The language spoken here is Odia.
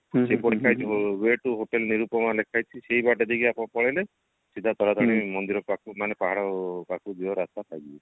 ସେପଟ site way to hotel Nirupama ଲେଖା ହେଇଛି ସେଇ ବାଟ ଦେଇ ଆପଣ ପଳେଇଲେ ସିଧା ଵ ତାରାତାରିଣୀ ମନ୍ଦିର ପାଖ ମାନେ ପାହାଡ ପାଖକୁ ଯିବା ରାସ୍ତା ପାଇଯିବେ